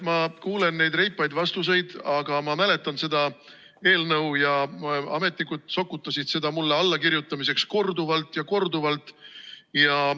Ma kuulen neid reipaid vastuseid, aga ma mäletan seda eelnõu, ja ametnikud sokutasid seda mulle allakirjutamiseks korduvalt ja korduvalt.